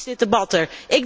Waarom is dit debat er?